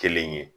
Kelen ye